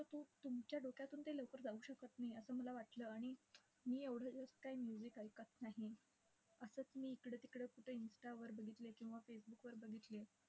तर तू तुमच्या डोक्यातून ते लवकर जाऊ शकत नाही असं मला वाटलं. आणि मी एवढं जास्त काही music ऐकत नाही. असंच मी इकडे तिकडे कुठे इंस्टावर बघितलं किंवा फेसबुकवर बघितलं.